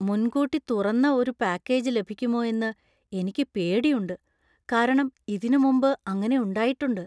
മുൻകൂട്ടി തുറന്ന ഒരു പാക്കേജ് ലഭിക്കുമോ എന്ന് എനിക്ക് പേടിയുണ്ട് , കാരണം ഇതിനു മുമ്പ് അങ്ങനെ ഉണ്ടായിട്ടുണ്ട് .